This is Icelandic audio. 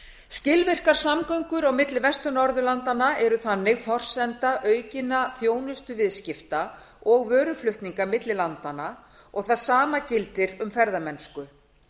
skilvirkar samgöngur á milli vestur norðurlanda eru þannig forsenda aukinna þjónustuviðskipta og vöruflutninga milli landanna og það sama gildir um ferðamennsku